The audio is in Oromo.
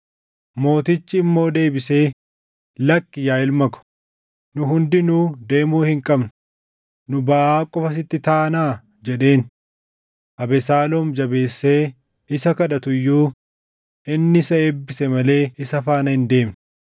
Mootichi immoo deebisee, “Lakki yaa ilma ko, nu hundinuu deemuu hin qabnu; nu baʼaa qofa sitti taanaa” jedheen. Abesaaloom jabeessee isa kadhatu iyyuu inni isa eebbise malee isa faana hin deemne.